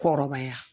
Kɔrɔbaya